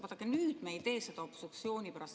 Vaadake, me ei tee seda obstruktsiooni pärast.